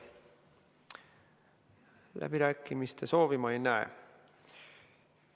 Läbirääkimiste soovi ma ei näe.